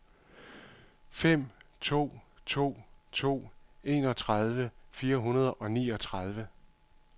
fem to to to enogtredive fire hundrede og niogtredive